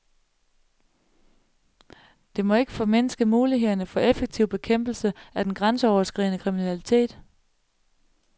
Det må ikke formindske mulighederne for effektiv bekæmpelse af den grænseoverskridende kriminalitet.